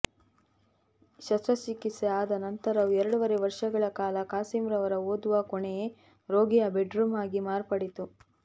ಶಸ್ತ್ರಚಿಕಿತ್ಸೆ ಆದ ನಂತರವೂ ಎರಡೂವರೆ ವರ್ಷಗಳ ಕಾಲ ಖಾಸಿಂರವರ ಓದುವ ಕೋಣೆಯೇ ರೋಗಿಯ ಬೆಡ್ರೂಮ್ ಆಗಿ ಮಾರ್ಪಡಿತ್ತು